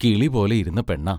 കിളിപോലെ ഇരുന്ന പെണ്ണാ.